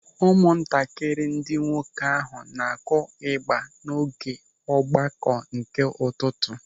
Ụmụntakịrị ndị nwoke ahụ na-akụ ịgba n'oge ọgbakọ nke ụtụtụ.